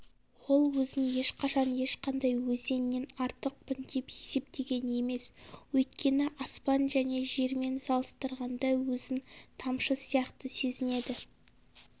ол өзін ешқашан ешқандай өзеннен артықпын деп есептеген емес өйткені аспан және жермен салыстырғанда өзін тамшы сияқты сезінеді